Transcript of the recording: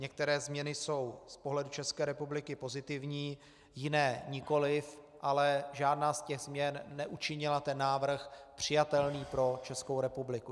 Některé změny jsou z pohledu České republiky pozitivní, jiné nikoliv, ale žádná z těch změn neučinila ten návrh přijatelný pro Českou republiku.